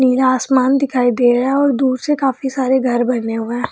नीला आसमान दिखाई दे रहा हैऔर दूर से काफी सारे घर बने हुए है।